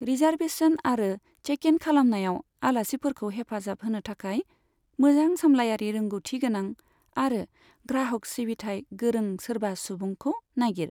Reservation आरो check in खालामनायाव आलासिफोरखौ हेफाजाब होनो थाखाय मोजां सामलायारि रोंगथि गोनां आरो ग्राहक सिबिथाइ गोरों सोरबा सुबुंखौ नागिर।